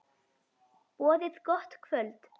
Boðið gott kvöld.